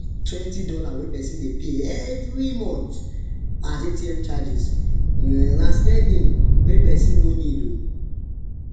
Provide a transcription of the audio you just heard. twenty dollar wey person dey pay every month as atm charges [um]na spending wen no person no need oo